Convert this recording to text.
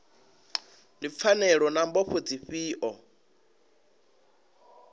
ndi pfanelo na mbofho dzifhio